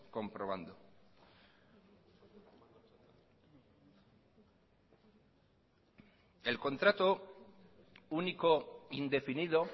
comprobando el contrato único indefinido